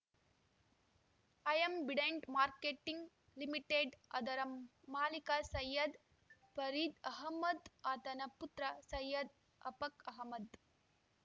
Ambidant Marketing Limited ಅದರ ಮಾಲಿಕ ಸೈಯದ್‌ ಪರೀದ್‌ ಅಹಮದ್‌ ಆತನ ಪುತ್ರ ಸೈಯದ್‌ ಅಫಕ್‌ ಅಹಮದ್‌